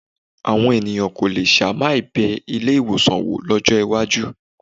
Àwọn ènìyàn kò le ṣàì má bẹ ilé-ìwọ̀sàn wò lọ́jọ́ iwájú.